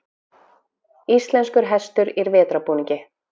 Íslenskur hestur í vetrarbúningi.